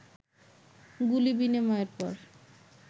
গুলি বিনিময়ের পর